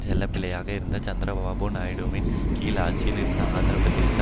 செல்லப்பிள்ளையாக இருந்த சந்திரபாபு நாயுடுவின் கீழ் ஆட்சியில் இருந்த ஆந்திர பிரதேச